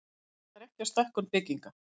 Kallar ekki á stækkun bygginga